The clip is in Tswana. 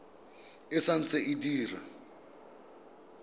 e sa ntse e dira